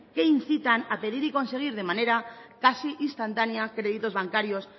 que incitan a pedir y conseguir de manera casi instantánea créditos bancarios